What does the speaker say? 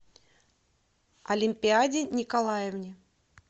олимпиаде николаевне